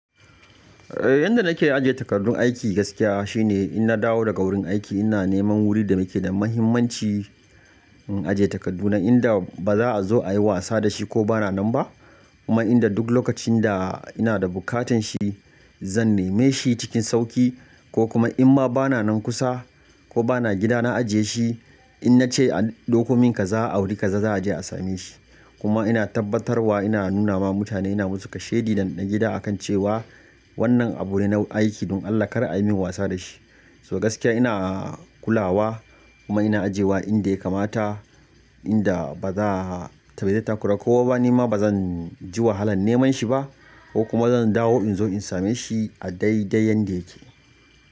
Eh yanda nake ajiye takardun aiki gaskiya shine in na dawo daga wurin aiki ina neman wurin da nake da muhimmanci in ajiye takardu na inda baza'a zo ayi wasa da shi ko bana nan ba. Kuma inda duk lokacin da ina da bukatan shi zan nema shi cikin sauƙi ko kuma inma bana nan kusa ko bana gida na ajiye shi in nace a dokomin kaza a wuri kaza za'a je a same shi. Kuma ina tabbatarwa ina nunawa mutane ina musu kashedi na gida akan cewa wannan abu ne na aiki don Allah kar a min wasa da shi. So gaskiya ina kulawa kuma ina ajiyewa inda ya kamata inda baza'a taba ya yi takura ko ba ni ma bazanji wahalan neman shi ba ko kuma zan dawo inzo in same shi a daidai yanda yake.